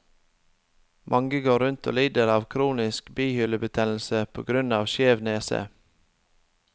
Mange går rundt og lider av kronisk bihulebetennelse på grunn av skjev nese.